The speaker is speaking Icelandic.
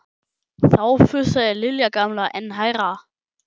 Þá fussaði Lilja gamla enn hærra.